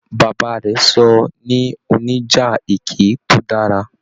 Bàbá rẹ sọ ní oníjà ẹkẹ to dára.